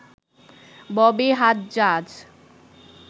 Bobby Hajjaj